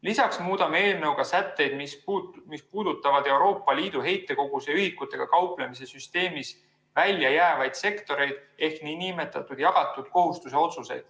Lisaks muudame eelnõuga sätteid, mis puudutavad Euroopa Liidu heitkoguse ühikutega kauplemise süsteemist välja jäävaid sektoreid ehk nn jagatud kohustuse otsuseid.